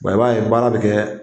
i b'a ye baara bɛ kɛ